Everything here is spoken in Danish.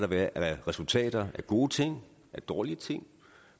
været af resultater af gode ting af dårlige ting